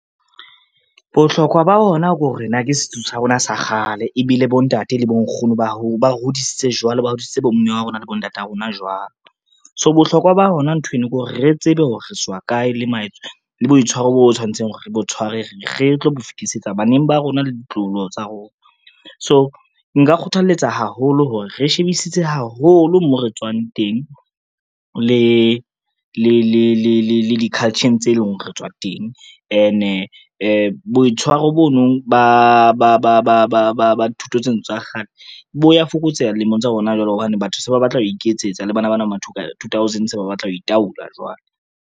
Bohlokwa ba ona ko re na ke setso sa rona sa kgale ebile bontate le bonkgono ba hodisitse jwalo, ba hodiseditse bomme ba rona le bontata rona jwalo. So bohlokwa ba hona nthweno ke hore re tsebe hore re tswa kae le boitshwaro bo tshwanetseng hore re bo tshware, re tlo bo fetisetsa baneng ba rona le ditloholo tsa rona. So nka kgothaletsa haholo hore re shebisise haholo mo re tswang teng le di-culture-ng tse leng hore re tswa teng ene boitshwaro bo no ba dithuto tseno tsa kgale bo ya fokotseha dilemong tsa hona jwale hobane, batho se ba batla ho iketsetsa le bana bana motho ba ma tw thousand se ba batla ho itaola jwale.